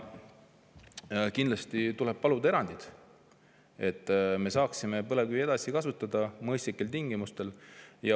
Kindlasti tuleb paluda erandeid, et me saaksime põlevkivi edasi kasutada mõistlikel tingimustel.